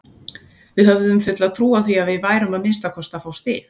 Við höfðum fulla trú á því að við værum að minnsta kosti að fá stig.